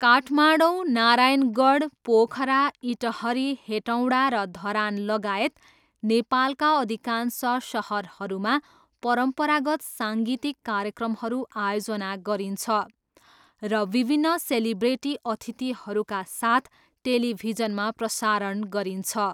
काठमाडौँ, नारायणगढ, पोखरा, इटहरी, हेटौँडा र धरानलगायत नेपालका अधिकांश सहरहरूमा परम्परागत साङ्गीतिक कार्यक्रमहरू आयोजना गरिन्छ र विभिन्न सेलिब्रिटी अतिथिहरूका साथ टेलिभिजनमा प्रसारण गरिन्छ।